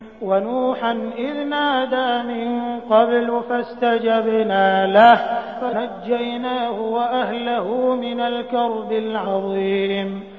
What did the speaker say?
وَنُوحًا إِذْ نَادَىٰ مِن قَبْلُ فَاسْتَجَبْنَا لَهُ فَنَجَّيْنَاهُ وَأَهْلَهُ مِنَ الْكَرْبِ الْعَظِيمِ